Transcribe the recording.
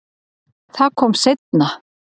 Það kom seinna